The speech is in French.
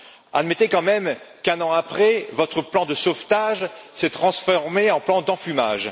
Admettez quand même qu'un an après, votre plan de sauvetage s'est transformé en plan d'enfumage